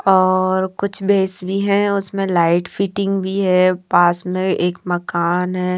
और कुछ भैस भी हैं उसमें लाइट फिटिंग भी हैं पास में एक मकान हैं।